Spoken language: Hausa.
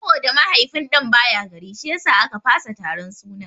Saboda mahaifin ɗan baya gari shiyasa a ka fasa taron sunan.